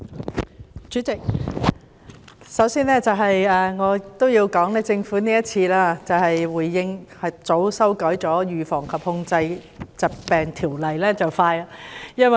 主席，我首先要說，政府今次回應和及早修訂《預防及控制疾病條例》，做得很快。